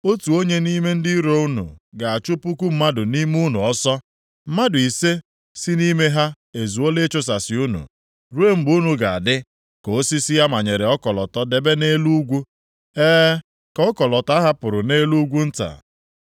Otu onye nʼime ndị iro unu ga-achụ puku mmadụ nʼime unu ọsọ. Mmadụ ise si nʼime ha ezuola ịchusasị unu, ruo mgbe unu ga-adị ka osisi a manyere ọkọlọtọ debe nʼelu ugwu, e, ka ọkọlọtọ a hapụrụ nʼelu ugwu nta.”